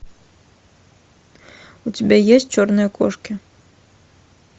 у тебя есть черные кошки